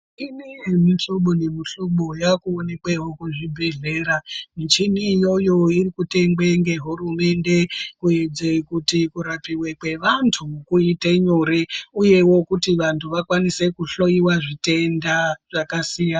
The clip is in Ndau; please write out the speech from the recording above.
Imwe yemihlobo nemihlobo yakuoneke muzvibhedhlera michini iyoyo ikutengwe ngehurumende kuite kuti kurapiwa kwevantu kuite nyore uyewo kuti vantu vakwanise kuhloyiwa zvitenda zvakasiyana.